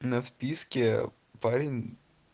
на вписке парень